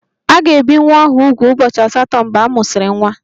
A ga-ebi nwa ahụ úgwù ụbọchị asatọ mgbe a mụsịrị nwa